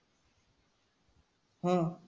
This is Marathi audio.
हां.